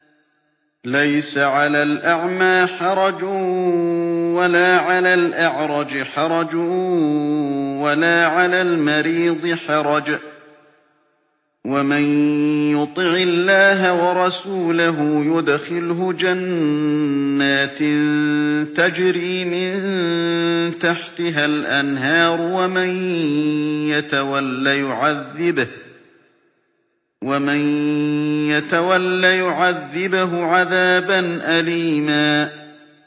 لَّيْسَ عَلَى الْأَعْمَىٰ حَرَجٌ وَلَا عَلَى الْأَعْرَجِ حَرَجٌ وَلَا عَلَى الْمَرِيضِ حَرَجٌ ۗ وَمَن يُطِعِ اللَّهَ وَرَسُولَهُ يُدْخِلْهُ جَنَّاتٍ تَجْرِي مِن تَحْتِهَا الْأَنْهَارُ ۖ وَمَن يَتَوَلَّ يُعَذِّبْهُ عَذَابًا أَلِيمًا